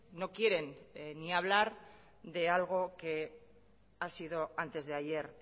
no quieren ni hablar de algo que ha sido antes de ayer